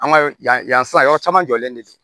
An ka yan yan sisan yɔrɔ caman jɔlen de don